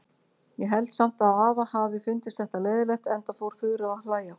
Ég held samt að afa hafi fundist þetta leiðinlegt, enda fór Þura að hlæja.